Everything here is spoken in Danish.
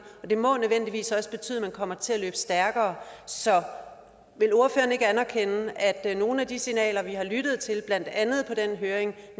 det må nødvendigvis også betyde at man kommer til at løbe stærkere så vil ordføreren ikke anerkende at nogle af de signaler vi har lyttet til blandt andet på den høring